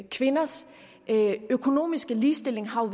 kvinders økonomiske ligestilling har